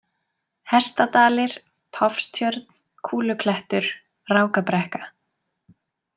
Hestadalir, Tofstjörn, Kúluklettur, Rákabrekka